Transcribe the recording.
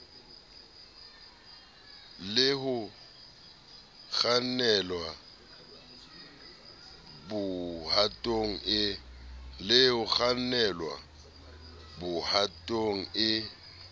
le ho kgannelwa bohatong e